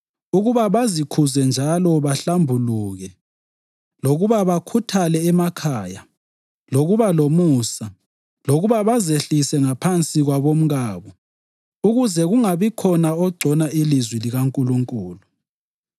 ukuba bazikhuze njalo bahlambuluke, lokuba bakhuthale emakhaya, lokuba lomusa, lokuba bazehlise ngaphansi kwabomkabo ukuze kungabikhona ogcona ilizwi likaNkulunkulu.